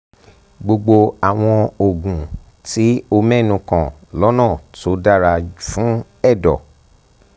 gbogbo àwọn oògùn tí o mẹ́nu kàn lọ́nà tó dára fún ẹ̀dọ̀